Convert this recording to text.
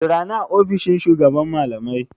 Jira ni a ofishin shugaban malamai!